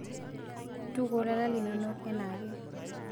Ntukuo lala linono anaake.